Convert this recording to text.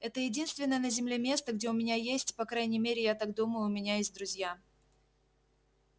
это единственное на земле место где у меня есть по крайней мере я так думаю у меня есть друзья